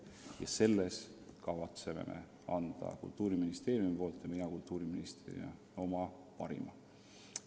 Ja selles töös kavatseb Kultuuriministeerium ja kavatsen mina kultuuriministrina oma parima anda.